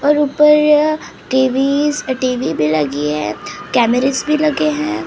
और ऊपर TV TV भी लगी है कैमेरस भी लगे हैं।